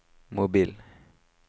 mobil